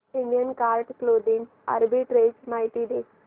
Indian card clothing arbitrage माहिती दे